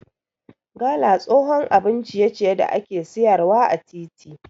Gala tsohon abun ciye ciye da ake siyar wa ã titi.